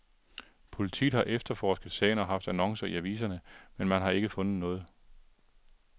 Politiet har efterforsket sagen og haft annoncer i aviserne, men man har ikke fundet noget.